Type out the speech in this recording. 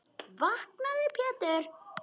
Vaknaðu Pétur.